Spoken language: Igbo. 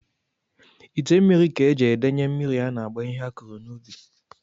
Ite mmiri ka e ji edenye mmiri a na-agba ihe a kụrụ n'ubi